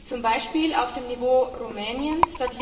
Zum Beispiel auf dem Niveau Rumäniens?